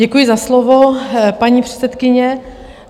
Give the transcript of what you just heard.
Děkuji za slovo, paní předsedkyně.